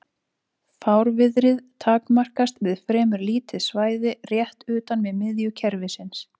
Fárviðrið takmarkast við fremur lítið svæði rétt utan við miðju kerfisins.